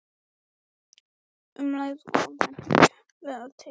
Um leið er bent á leiðir til úrbóta.